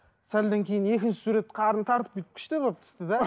сәлден кейін екінші сурет қарнын тартып бүйтіп күшті болып түсті де